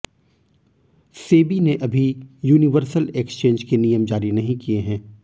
सेबी ने अभी universal exchange के नियम जारी नहीं किए हैं